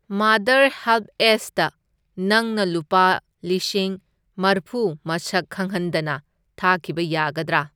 Mother ꯍꯦꯜꯞꯑꯦꯖꯇ ꯅꯪꯅ ꯂꯨꯄꯥ ꯂꯤꯁꯤꯡ ꯃꯔꯐꯨ ꯃꯁꯛ ꯈꯪꯍꯟꯗꯅ ꯊꯥꯈꯤꯕ ꯌꯥꯒꯗ꯭ꯔꯥ?